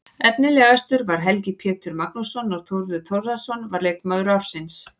Efnilegastur var Helgi Pétur Magnússon og Þórður Þórðarson var leikmaður ársins.